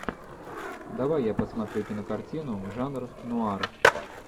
давай я посмотрю кинокартину жанр нуар